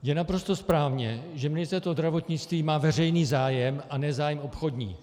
Je naprosto správně, že Ministerstvo zdravotnictví má veřejný zájem, a ne zájem obchodní.